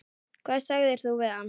Hvað sagðir þú við hann?